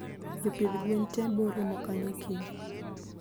Jopidh gwen tee boromo kanyo kiny.